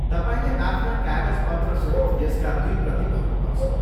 तपाईँले आफ्ना कागजपत्रसहित यसका दुई प्रति भर्नुपर्छ।